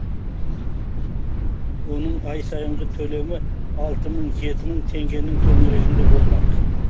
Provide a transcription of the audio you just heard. оның ай сайынғы төлемі алты мың жеті мың теңгенің төңірегінде болмақ